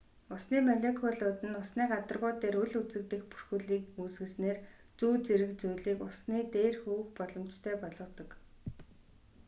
усны молекулууд нь усны гадаргуу дээр үл үзэгдэх бүрхүүлийг үүсгэснээр зүү зэрэг зүйлийг усны дээр хөвөх боломжтой болгодог